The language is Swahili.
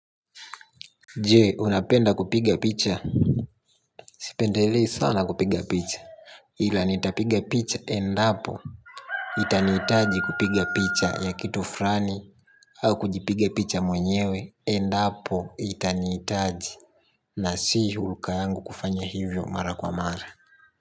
Je, unapenda kupiga picha. Sipendelei sana kupiga picha ila nitapiga picha endapo itanihitaji kupiga picha ya kitu furani. Au kujipiga picha mwenyewe. Endapo itanihitaji na si hulka yangu kufanya hivyo mara kwa mara.